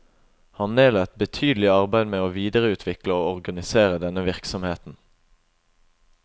Han nedla et betydelig arbeid med å videreutvikle og organisere denne virksomheten.